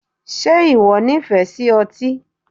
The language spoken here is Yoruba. Ṣe ìwọ nífẹ̀ẹ́ sí otí?